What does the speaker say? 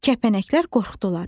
Kəpənəklər qorxdular.